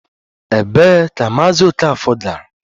Ebee ka Maazị Okafor gara?